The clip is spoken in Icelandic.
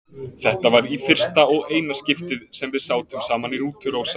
Þetta var í fyrsta og eina skiptið sem við sátum saman í rútu, Rósa.